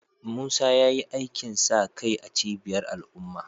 Musa ya yi aikin sa kai a cibiyar al’umma